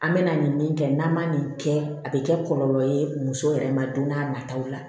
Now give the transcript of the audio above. An bɛ na nin min kɛ n'an ma nin kɛ a bɛ kɛ kɔlɔlɔ ye muso yɛrɛ ma don n'a nataw la